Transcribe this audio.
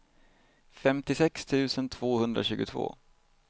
femtiosex tusen tvåhundratjugotvå